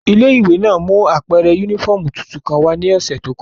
Ile-iwe náa mu apẹrẹ unifọmú tuntun kan wa ni ọsẹ to kọja.